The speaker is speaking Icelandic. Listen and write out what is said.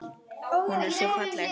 Hún var svo falleg.